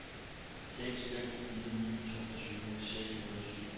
seks fem fire ni toogtyve seks hundrede og syv